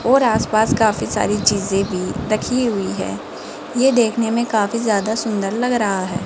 और आस पास काफी सारी चीजें भी रखी हुई है ये देखने में काफी ज्यादा सुंदर लग रहा है।